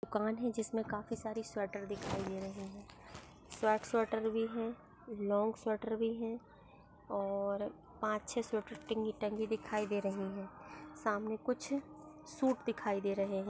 दुकान है जिसमे काफी सारी स्वेटर दिखाई दे रहे है। शॉर्ट स्वेटर भी है लॉन्ग स्वेटर भी है और पाँच छह स्वेटर टिंगी टंगी दिखाई दे रही है। सामने कु सूट दिखाई दे रहे है।